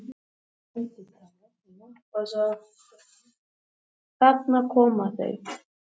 Freyr var gríðarlega ánægður í leikslok, en honum fannst liðið nálgast verkefnið vel og fagmannlega.